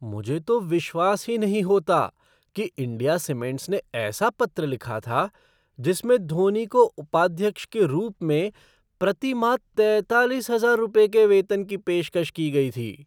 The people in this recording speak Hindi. मुझे तो विश्वास ही नहीं होता कि इंडिया सीमेंट्स ने ऐसा पत्र लिखा था जिसमें धोनी को उपाध्यक्ष के रूप में प्रति माह तैतालीस हजार रुपये के वेतन की पेशकश की गई थी।